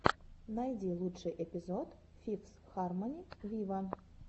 найди лучший эпизод фифс хармони виво